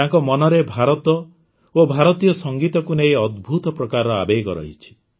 ତାଙ୍କ ମନରେ ଭାରତ ଓ ଭାରତୀୟ ସଂଗୀତକୁ ନେଇ ଅଦ୍ଭୁତ ପ୍ରକାରର ଆବେଗ ରହିଛି